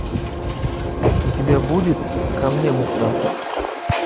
у тебя будет ко мне мухтар